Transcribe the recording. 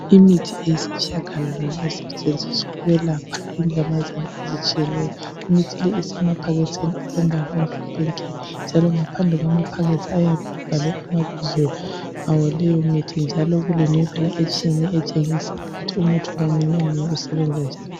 Imithi eyisitshiyagalolunye esetshenziswa ukwelapha inyamazana ezitshiyeneyo. Imithi le isemaphakethini alombala omhlophe nke njalo ngaphandle kwamaphakethi ayabe ebhalwe amabizo awaleyomithi njalo kulemibala etshiyeneyo etshengisa ukuthi ngamunye ngamunye usebenza njani.